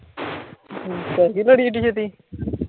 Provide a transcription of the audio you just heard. ਪੈਗੀ ਲੜੀ ਐੱਡੀ ਛੇਤੀ?